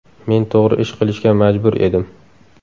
Men to‘g‘ri ish qilishga majbur edim.